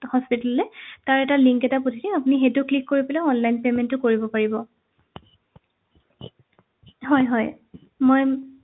hospital লে তাৰ এটা link এটা পঠিয়াম আপুনি সেইটো click কৰি পেলাই online payment টো কৰিব পাৰিব হয় হয় মই